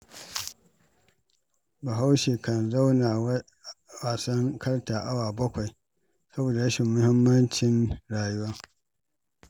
Bahaushe kan zauna wasan karta awa 7, saboda rashin sanin muhimmancin rayuwa.